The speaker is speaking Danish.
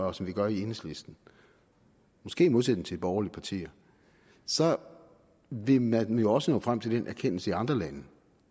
og som vi gør i enhedslisten måske i modsætning til de borgerlige partier så vil man jo også når frem til den erkendelse i andre lande